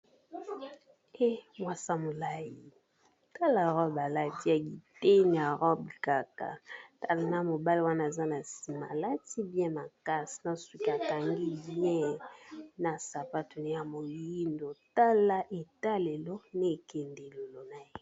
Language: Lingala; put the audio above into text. E mwasi ya molai, tala robe alati ya eteni ya robe kaka. Tala na mobali wana aza na nsima alati bien makasi na suki akangi bien na sapato ya moyindo. Tala etalelo na ekendelelo na ye.